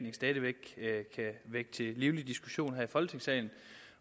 livlig diskussion her i folketingssalen